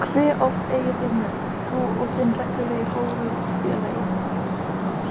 Hve oft eigið þið mök, þú og þinn reglulegi bólfélagi?